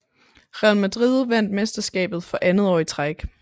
Real Madrid vandt mesterskabet for andet år i træk